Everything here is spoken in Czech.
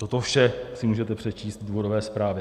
Toto vše si můžete přečíst v důvodové zprávě.